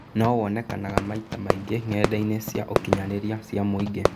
No wonekanaga maita maingĩ ng'enda-inĩ cia ũkinyanĩria cia mũingĩ.